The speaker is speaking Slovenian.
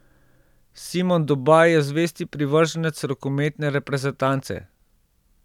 Simon Dobaj je zvesti privrženec rokometne reprezentance.